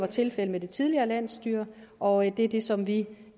tilfældet med det tidligere landsstyre og det er det som vi